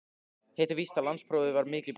Hitt er víst að landsprófið var mikil bylting.